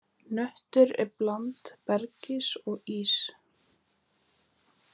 Hnötturinn er blanda bergs og íss.